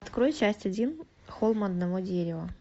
открой часть один холм одного дерева